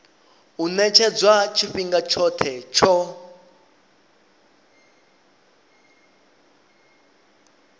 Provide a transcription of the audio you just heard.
u ṅetshedzwa tshifhinga tshoṱhe tsho